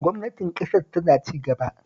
Gwamnatin ƙasar tana cigaba